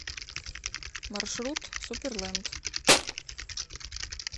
маршрут суперленд